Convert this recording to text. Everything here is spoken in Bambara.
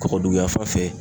Kɔkɔduguya fan fɛ